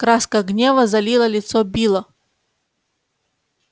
краска гнева залила лицо билла